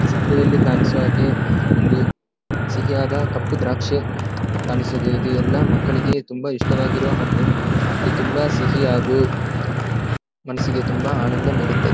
ಈ ಚಿತ್ರದಲ್ಲಿ ಕಾಣಿಸುವಹಾಗೆ ಒಂದು ಸಿಹಿಯಾದ ಕಪ್ಪು ದ್ರಾಕ್ಷಿ ಕಾಣಿಸುತಿದ್ದೆ ಇದು ಎಲ್ಲ ಮಕ್ಕಳಿಗೆ ತುಂಬಾ ಇಷ್ಟ ಆಗಿರುವ ಹಣ್ಣು ಇದು ತುಂಬಾ ಸಿಹಿ ಹಾಗು ಮನಸ್ಸಿಗೆ ತುಂಬಾ ಆನಂದ ನೀಡುತ್ತದ್ದೆ.